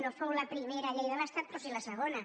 no fou la primera llei de l’estat però sí la segona